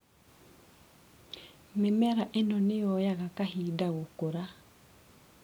Mĩmera ĩno nĩyoyaga kahinda gũkũra.